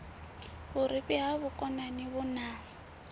vhurifhi ha vhukonani vhu na